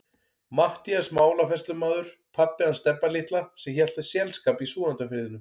Matthías málafærslumaður, pabbi hans Stebba litla sem hélt þér selskap í Súgandafirðinum.